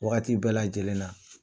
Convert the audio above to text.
Waati bɛɛ lajɛlen na